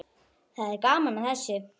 Það er gaman að þessu.